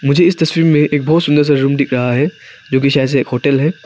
मुझे इस तस्वीर में एक बहुत सुंदर सा रूम दिख रहा है जो कि शायद एक होटल है।